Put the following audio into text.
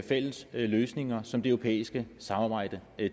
fælles løsninger som det europæiske samarbejde